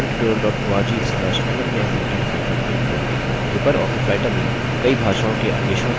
spoken hyphen tutorial dot org slash nmeict hypen intro